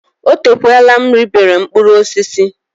Oteekwala m ribere mkpụrụ osisi.